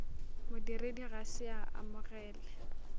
modiredi ga se a amogele